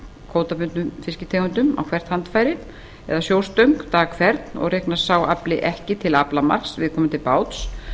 kvótabundnum fisktegundum á hvert handfæri eða sjóstöng dag hvern og reiknast sá afli ekki til aflamarks viðkomandi báts